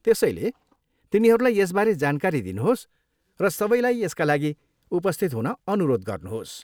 त्यसैले, तिनीहरूलाई यसबारे जानकारी दिनुहोस् र सबैलाई यसका लागि उपस्थित हुन अनुरोध गर्नुहोस्।